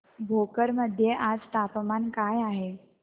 भोकर मध्ये आज तापमान काय आहे